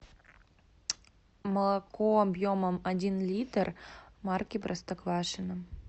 молоко объемом один литр марки простоквашино